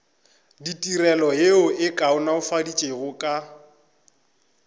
ditirelo yeo e kaonafaditšwego ka